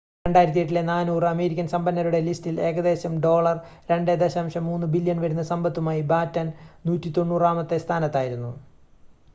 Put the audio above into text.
2008-ലെ 400 അമേരിക്കൻ സമ്പന്നരുടെ ലിസ്റ്റിൽ ഏകദേശം $2.3 ബില്യൺ വരുന്ന സമ്പത്തുമായി ബാറ്റൺ 190-മത്തെ സ്ഥാനത്തായിരുന്നു